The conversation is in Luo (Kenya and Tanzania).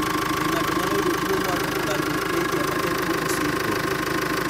Be ng'ato nyalo yudo tuwo mar ophthalmoplegia ma en tuwo mosiko?